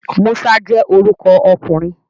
Musa je oruko okunrin